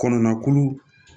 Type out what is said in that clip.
Kɔnɔna kolo